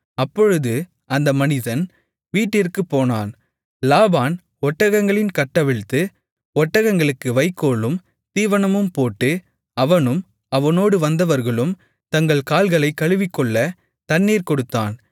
அப்பொழுது அந்த மனிதன் வீட்டிற்குப் போனான் லாபான் ஒட்டகங்களின் கட்டவிழ்த்து ஒட்டகங்களுக்கு வைக்கோலும் தீவனமும் போட்டு அவனும் அவனோடு வந்தவர்களும் தங்கள் கால்களைக் கழுவிக்கொள்ளத் தண்ணீர் கொடுத்தான்